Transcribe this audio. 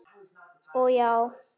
Og já.